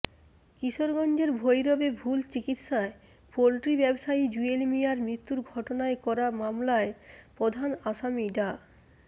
কিশোরগঞ্জের ভৈরবে ভুল চিকিৎসায় পোল্ট্রি ব্যবসায়ী জুয়েল মিয়ার মৃত্যুর ঘটনায় করা মামলার প্রধান আসামি ডা